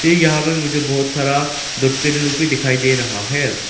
ये यहां में मुझे बहुत सारा डब्बे लोग भी दिखाई दे रहा है।